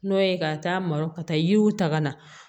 N'o ye ka taa maro ka taa yiriw ta ka na